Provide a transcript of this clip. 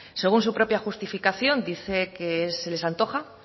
según su propia justificación dice que se les antoja